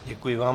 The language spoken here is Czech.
Děkuji vám.